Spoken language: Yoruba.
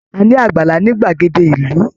A ni àgbàlá ni gbagede ìlú.